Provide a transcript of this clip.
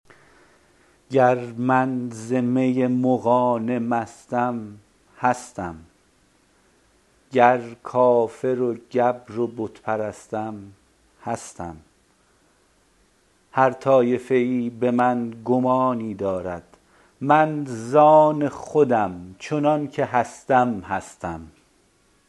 گر من ز می مغانه مستم هستم گر کافر و گبر و بت پرستم هستم هر طایفه ای به من گمانی دارد من زان خودم چنانکه هستم هستم